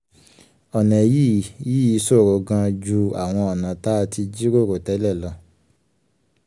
ọ̀nà yìí yìí ṣòro gan-an ju àwọn ọ̀nà tá a ti jíròrò tẹ́lẹ̀ lọ.